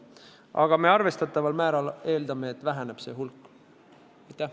Aga me eeldame, et see hulk väheneb arvestataval määral.